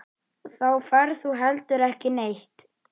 Þá ferð þú heldur ekki neitt.